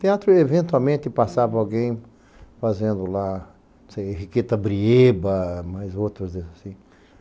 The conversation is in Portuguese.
Teatro, eventualmente, passava alguém fazendo lá, não sei, Enriqueta Brieba, mas outros assim.